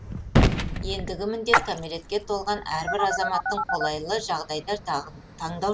ендігі міндет кәмелетке толған әрбір азаматтың қолайлы жағдайда таңдау